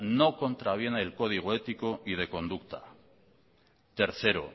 no contraviene el código ético y de conducta tercero